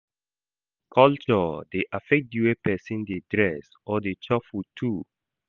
Culture dey affect di way persin de dress or de chop food too